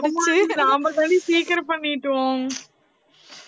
நாம தான்டி சீக்கிரம் பண்ணிட்டோம்